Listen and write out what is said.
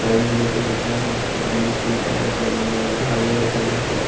side में देखिये दुकान है जिस पे अमूल कूल का एक बैनर लगा है आगे देखा जाये तो --